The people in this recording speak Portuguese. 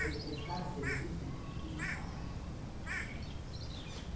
Ele prestava serviço, inclusive, no Palácio.